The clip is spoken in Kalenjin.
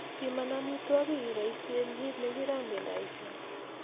Piman amitwogik iboisien kiit nekirogendoisien